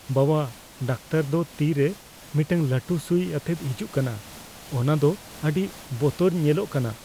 ᱵᱟᱵᱟ, ᱰᱟᱠᱴᱚᱨ ᱫᱚ ᱛᱤ ᱨᱮ ᱢᱤᱫᱴᱟᱝ ᱞᱟᱹᱴᱩ ᱥᱩᱭ ᱟᱛᱮᱭ ᱦᱤᱡᱩᱜ ᱠᱟᱱᱟ ᱾ ᱚᱱᱟ ᱫᱚ ᱟᱹᱰᱤ ᱵᱚᱛᱚᱨ ᱧᱮᱞᱚᱜ ᱠᱟᱱᱟ ᱾